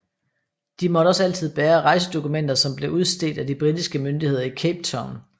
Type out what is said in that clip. De måtte også altid bære rejsedokumenter som blev udstedt af de britiske myndigheder i Cape Town